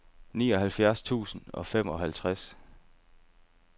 nioghalvfjerds tusind og femoghalvtreds